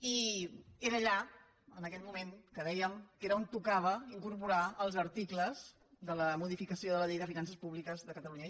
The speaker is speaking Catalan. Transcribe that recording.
i era allà on en aquell moment dèiem que tocava incorporar els articles de la modificació de la llei de finances públiques de catalunya